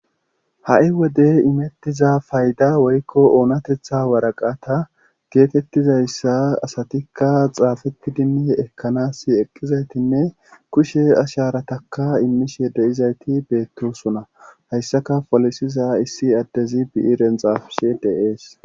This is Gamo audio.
Ha'i wode imettiza fayda woykko oonatetha waraqata geetettizayssa asatikka xaafeti dimme ekkanas eqqizaytinne kushe asharataka immishe deyizayti beettosuna hayssaka folisiza issi addezi biyi renxaafishe deees